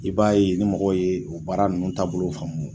I b'a ye ni mɔgɔw ye o baara ninnu taabolo faamu